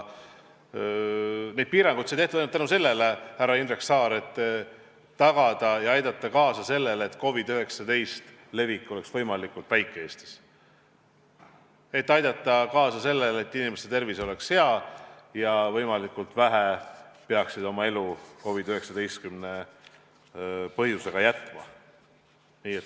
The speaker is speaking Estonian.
Neid piiranguid sai tehtud ainult selleks, härra Indrek Saar, et aidata kaasa sellele, et COVID-19 levik oleks Eestis võimalikult väike, inimeste tervis oleks hea ja võimalikult vähesed peaksid oma elu COVID-19 tõttu jätma.